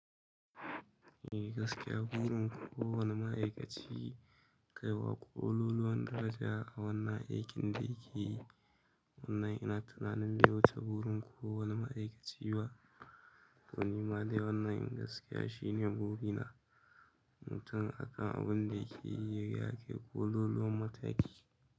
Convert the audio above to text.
Eh gaskiya burin kowane ma'aikaci kaiwa ƙololuwan daraja a wannan aikin da yake yi. Wannan yana tunanin wuce burin kowane ma'aikaci ba dan nama dai. Wannan ehn gaskiya shine buri na mutum akan abun da yake yi yakai ƙololuwan mataki.